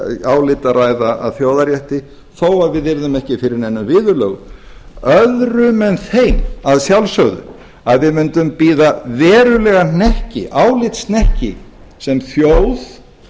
álit að ræða að þjóðarrétti þó við yrðum ekki fyrir neinum viðurlögum öðrum en þeim að sjálfsögðu að við mundum bíða verulegan hnekki álitshnekki sem þjóð